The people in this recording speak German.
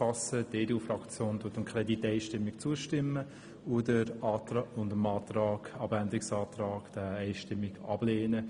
Die EDU-Fraktion stimmt dem Kredit einstimmig zu und lehnt den Abänderungsantrag einstimmig ab.